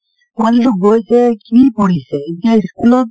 পোৱালীটো গৈছে, কি পঢ়িছে । এতিয়া school ত